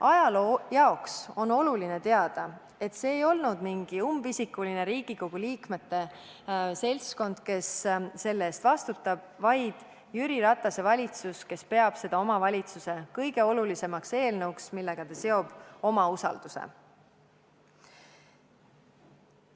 Ajaloo jaoks on oluline teada, et see ei ole mingi umbisikuline Riigikogu liikmete seltskond, kes selle eest vastutab, vaid Jüri Ratase valitsus, kes peab seda oma valitsuse kõige olulisemaks eelnõuks, millega ta seob enda usaldamise.